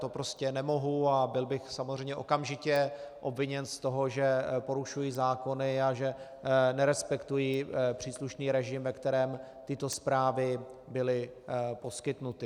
To prostě nemohu a byl bych samozřejmě okamžitě obviněn z toho, že porušuji zákony a že nerespektuji příslušný režim, ve kterém tyto zprávy byly poskytnuty.